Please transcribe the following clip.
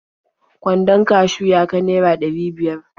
Kwandon kashiw ya ka naira ɗari biyar.